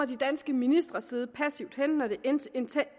de danske ministre sidde passivt hen når det intensive